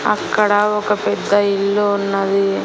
అక్కడ ఒక పెద్ద ఇల్లు ఉన్నది.